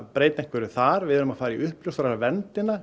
breyta einhverju þar við erum að fara í